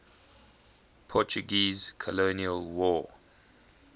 portuguese colonial war